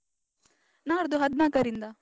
ನಾಡ್ದು ಹದ್ನಾಕರಿಂದ.